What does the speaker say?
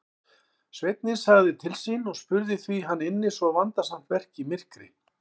Sveinninn sagði til sín og spurði hví hann ynni svo vandasamt verk í myrkri.